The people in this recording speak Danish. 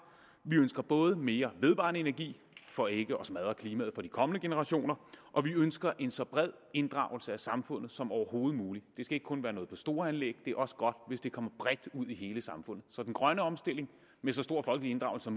vi ønsker både mere vedvarende energi for ikke at smadre klimaet for de kommende generationer og vi ønsker en så bred inddragelse af samfundet som overhovedet muligt det skal ikke kun være noget for store anlæg det er også godt hvis det kommer bredt ud i hele samfundet så den grønne omstilling med så stor folkelig inddragelse